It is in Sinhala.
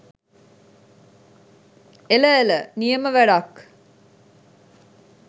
එල එල නියම වැඩක්